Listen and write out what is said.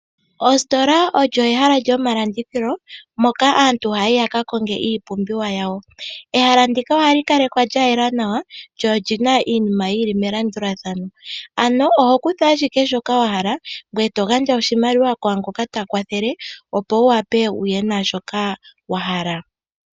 Oositola olyo ehala lyomalandithilo moka aantu haya yi yakakonge iipumbiwa yawo. Ehala ndika ohali kalekwa lya yela nawa, lyo olina iinima yili melandulathano , ano oho kutha ashike shoka wahala ngoye togandja oshimaliwa shoka kwaangoka takwathele, nopo wuwape okuya naashoka wahala.